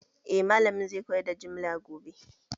Eh malamin zai koyar da jimla gobe